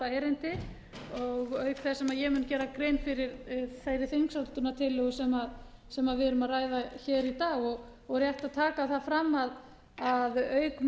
erindi auk þess sem ég mun gera grein fyrir þeirri þingsályktunartillögu sem við erum að ræða hér í dag og rétt að taka það fram að auk